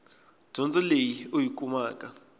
dyondzo leyi u yi kumaka